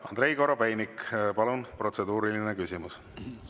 Andrei Korobeinik, palun, protseduuriline küsimus!